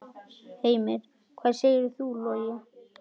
Heimir: Hvað segir þú, Logi?